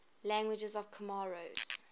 languages of comoros